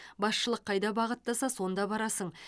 басшылық қайда бағыттаса сонда барасың